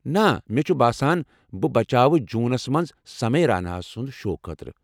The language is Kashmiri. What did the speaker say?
نہ، مےٚ چھُ باسان بہٕ بچاوٕ جوٗنَس مَنٛز سمے راینا سٕنٛدِ شو خٲطرٕ۔